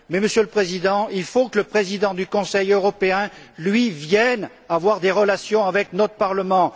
Mais, Monsieur le Président, il faut que le président du Conseil européen, lui, vienne avoir des relations avec notre Parlement.